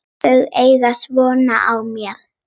Þau eiga von á mér.